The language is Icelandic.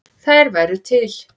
Þær væru til.